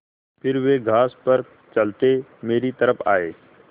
फिर वे घास पर चलते मेरी तरफ़ आये